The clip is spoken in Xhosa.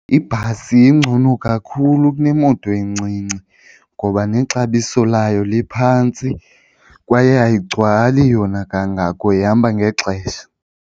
Ibhasi ingcono kakhulu kunemoto encinci ngoba nexabiso layo liphantsi kwaye ayigcwali yona kangako ihamba ngexesha.